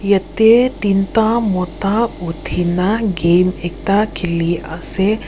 yatae teenta mota uthina game ekta khiliase.